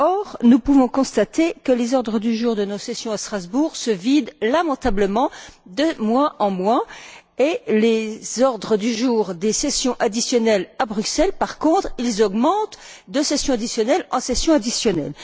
Or, nous pouvons constater que les ordres du jour de nos sessions à Strasbourg se vident lamentablement de mois en mois et les ordres du jour des sessions additionnelles à Bruxelles, par contre, augmentent de session additionnelle en session additionnelle.